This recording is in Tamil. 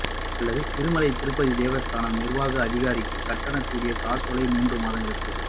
அல்லது திருமலை திருப்பதி தேவஸ்தான நிர்வாக அதிகாரிக்கு கட்டணத்துடன் கூடிய காசோலையை மூன்று மாதங்களுக்கு